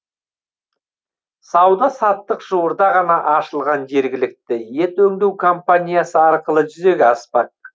сауда саттық жуырда ғана ашылған жергілікті ет өңдеу компаниясы арқылы жүзеге аспақ